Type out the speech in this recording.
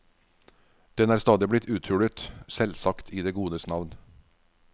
Den er stadig blitt uthulet, selvsagt i det godes navn.